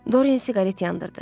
Doryan siqaret yandırdı.